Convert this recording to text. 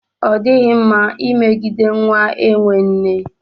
Ọ dịghị mma imegide nwa enwe nne.